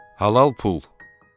Halal pul.